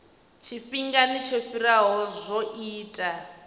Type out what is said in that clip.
tshifhingani tsho fhiraho zwo ita